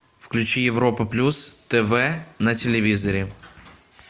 включи европа плюс тв на телевизоре